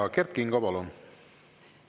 Ja Kert Kingo, palun!